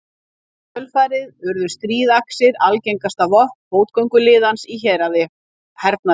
Í kjölfarið urðu stríðaxir algengasta vopn fótgönguliðans í hernaði.